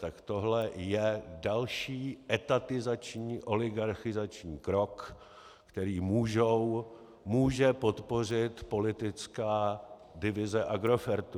Tak tohle je další etatizační oligarchizační krok, který může podpořit politická divize Agrofertu.